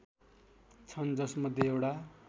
छन् जसमध्ये एउटा